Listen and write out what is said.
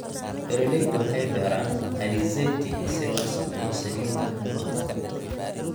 Beeralaydu waxay beeraan alizeti si loo sameeyo saliidda cunto.